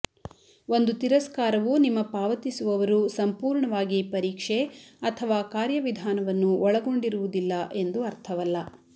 ಒಂದು ತಿರಸ್ಕಾರವು ನಿಮ್ಮ ಪಾವತಿಸುವವರು ಸಂಪೂರ್ಣವಾಗಿ ಪರೀಕ್ಷೆ ಅಥವಾ ಕಾರ್ಯವಿಧಾನವನ್ನು ಒಳಗೊಂಡಿರುವುದಿಲ್ಲ ಎಂದು ಅರ್ಥವಲ್ಲ